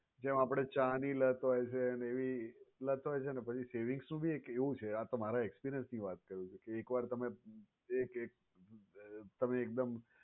જેમ આપણને ચા ની લત હોય છે એવી લત હોય છે ને કે પછી savings નું ભી એક એવું છે આ તો મારા experience ની વાત કરું છું કે એક વાર તમે એક એક તમે એકદમ